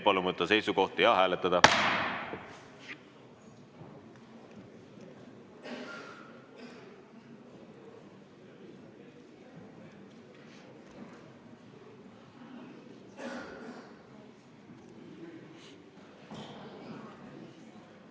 Palun võtta seisukoht ja hääletada!